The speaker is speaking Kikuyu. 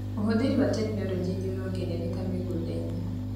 ũhũthĩri wa tekinologĩ nĩũrongerereka mĩgũndainĩ.